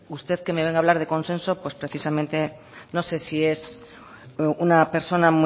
usted que me venga a hablar de consenso pues precisamente no sé si es una persona